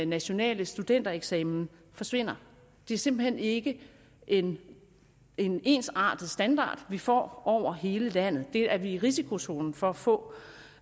nationale studentereksamen forsvinder det er simpelt hen ikke en en ensartet standard vi får over hele landet det er vi i risikozonen for at få